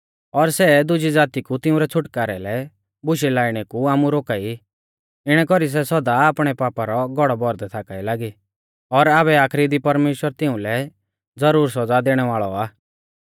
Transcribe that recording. और सै दुज़ी ज़ाती कु तिंउरै छ़ुटकारै लै बुशै लाइणै कु आमु रोका ई इणै कौरी सै सौदा आपणै पापा रौ घौड़ौ भौरदै थाका ई लागी और आबै आखरी दी परमेश्‍वर तिउंलै ज़रूर सौज़ा दैणै वाल़ौ आ